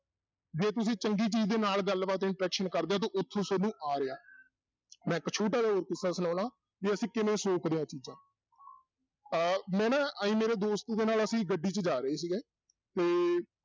ਜੇ ਤੁਸੀਂ ਚੰਗੀ ਚੀਜ਼ ਦੇ ਨਾਲ ਗੱਲਬਾਤ interaction ਕਰਦੇ ਹੋ ਤਾਂ ਉੱਥੋਂ ਤੁਹਾਨੂੰ ਆ ਰਿਹਾ, ਮੈਂ ਇੱਕ ਛੋਟਾ ਜਿਹਾ ਕਿੱਸਾ ਸੁਣਾਉਣਾ ਵੀ ਅਸੀਂ ਕਿਵੇਂ ਸੋਕਦੇ ਹਾਂ ਇਹ ਚੀਜ਼ਾਂ ਅਹ ਮੈਂ ਨਾ ਆਈ ਮੇਰੇ ਦੋਸਤ ਦੇ ਨਾਲ ਅਸੀਂ ਗੱਡੀ 'ਚ ਜਾ ਰਹੇ ਸੀਗੇ ਤੇ